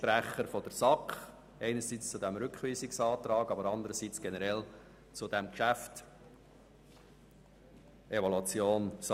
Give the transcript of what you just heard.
Ich spreche zum Rückweisungsantrag sowie generell zu dieser Evaluation von SARZ.